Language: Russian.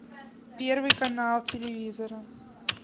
первый канал телевизора